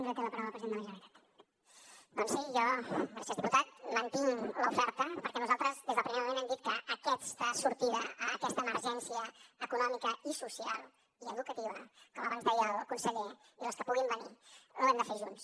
doncs sí jo gràcies diputat mantinc l’oferta perquè nosaltres des del primer moment hem dit que aquesta sortida a aquesta emergència econòmica i social i educativa com abans deia el conseller i les que puguin venir l’hem de fer junts